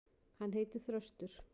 Hann heitir Þröstur.